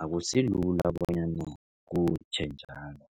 akusilula bonyana kutjhe njalo.